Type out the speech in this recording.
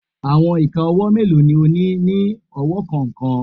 Awọn ika ọwọ melo ni o ni ni ọwọ kọọkan?